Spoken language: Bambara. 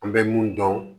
An bɛ mun dɔn